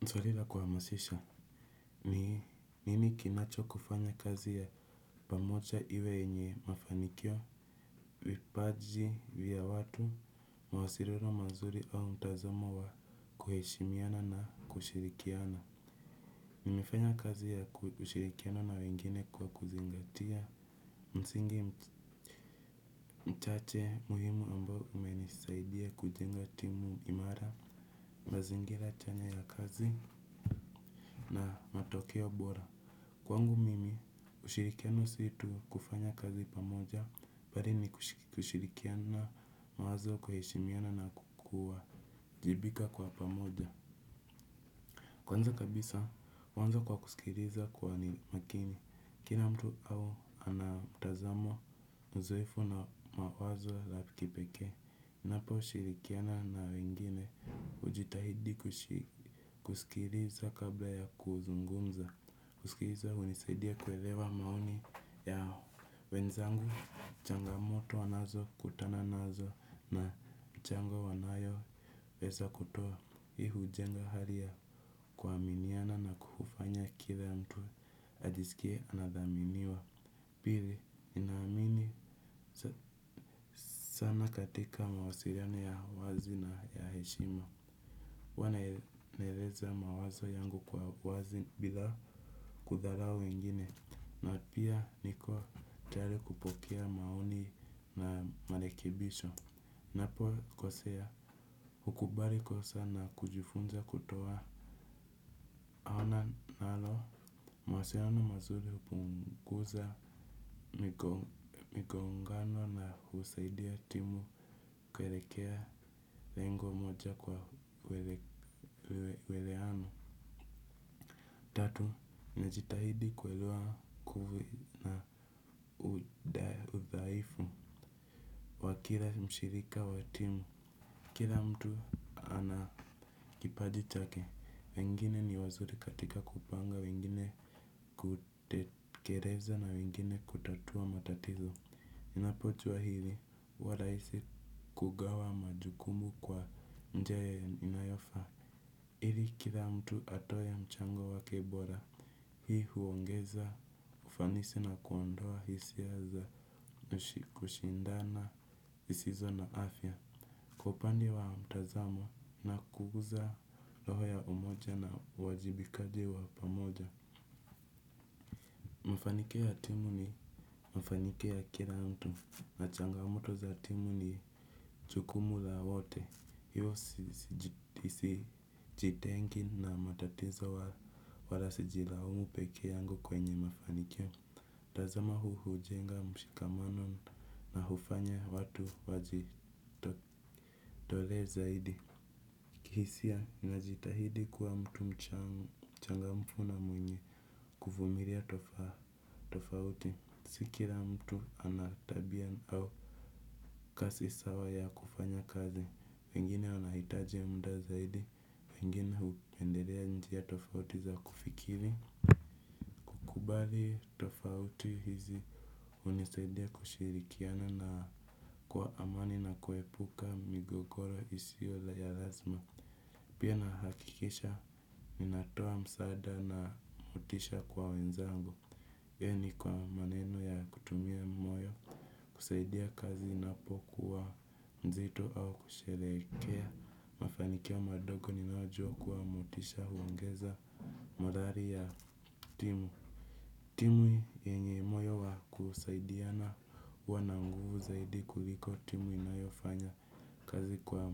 Ni swali la kuhamasisha, ni nini kinachokufanya kazi ya pamoja iwe yenye mafanikio, vipaji, vya watu, mawasiliano mazuri au mtazomo wa kuheshimiana na kushirikiana. Nimefanya kazi ya kushirikiana na wengine kwa kuzingatia msingi mchache muhimu ambao umenisaidia kujenga timu imara, mazingira chanya ya kazi na matokeo bora. Kwangu mimi, ushirikiano si tu kufanya kazi pamoja, bali ni kushirikiana mawazo kuheshimiana na kwa kuajibika kwa pamoja. Kwanza kabisa, huanza kwa kusikiliza kwa ni makini. Kila mtu au ana mtazamo uzoefu na mawazo la kipekee. Naposhirikiana na wengine hujitahidi kusikiliza kabla ya kuzungumza. Kusikiliza hunisaidia kuelewa maoni ya wenzangu. Changamoto wanazokutana nazo na chango wanayo pesa kutoa hii hujenga hali ya kuaminiana na kufanya kile mtu ajisikie anathaminiwa. Pili, inaamini sana katika mawasiliano ya wazi na ya heshima. Huwa naeleza mawazo yangu kwa wazi bila kudharau wengine. Na pia niko tayari kupokea maoni na marekebisho. Napokosea, hukubali kosa na kujifunza kutoa. Ona nalo, mawasiliano mazuri hupunguza migongano na husaidia timu kuelekea lengo moja kwa uelewano. Tatu, najitahidi kuelewa kuvu na udhaifu kila mshirika wa timu. Kila mtu ana kipaji chake, wengine ni wazuri katika kupanga, wengine kutekeleza na wengine kutatua matatizo. Ninapojua hili huwa rahisi kugawa majukumu kwa njia inayofaa ili kila mtu atoe mchango wake bora. Hii huongeza ufanisi na kuondoa hisia za kushindana zisizo na afya. Kwa upande wa mtazamo na kuguza roho ya umoja na uwajibikaji wa pamoja. Mafanikio ya timu ni mafanio ya kila mtu. Na changamoto za timu ni jukumu la wote, hiyo sijitengi na matatizo wala sijilaumu pekee yangu kwenye mafanikio mtazamo huu hujenga mshikamano na hufanya watu wajitolee zaidi. Kihisia najitahidi kuwa mtu mchangamfu na mwenye kuvumilia tofauti. Si kila mtu ana tabia au kasi sawa ya kufanya kazi, wengine wanahitaji muda zaidi, wengine hupendelea njia tofauti za kufikiri. Kubali tofauti hizi hunisaidia kushirikiana na kwa amani na kuepuka migogoro isi la ya lazima. Pia nahakikisha, ninatoa msaada na motisha kwa wenzangu. Yaani kwa maneno ya kutumia moyo, kusaidia kazi inapokuwa mzito au kusherehekea. Mafanikio madogo ninayojua kwa motisha huongeza mathari ya timu. Timu yenye moyo wa kusaidiana huwa na nguvu zaidi kuliko timu inayofanya kazi kwa